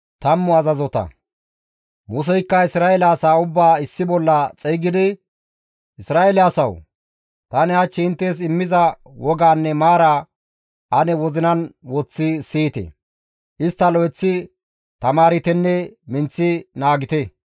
Museykka Isra7eele asaa ubbaa issi bolla xeygidi, «Isra7eele asawu! Tani hach inttes immiza wogaanne maaraa ane wozinan woththi siyite; istta lo7eththi tamaartenne minththi naagite.